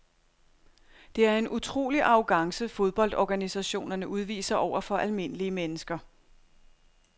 Det er en utrolig arrogance fodboldorganisationerne udviser over for almindelige mennesker.